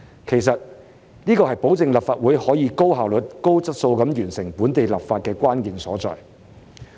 其實，這是保證立法會可以高效率、高質素地完成本地立法的關鍵所在。